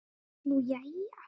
Nú, jæja?